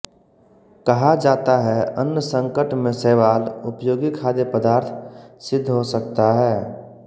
कहा जाता है अन्नसंकट में शैवाल उपयोगी खाद्यपदार्थ सिद्ध हो सकता है